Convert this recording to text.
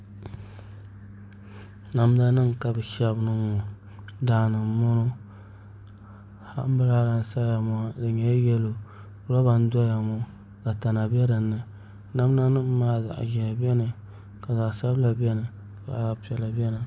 Namda nim ka bi shɛbi zali ŋɔ daani n bɔŋɔ anbirala n saya ŋɔ di nyɛla yɛlo roba n doya ŋɔ ka tana bɛ dinni namda nim maa zaɣ ʒiɛhi biɛni ka zaɣ sabila biɛni ka zaɣ piɛla biɛni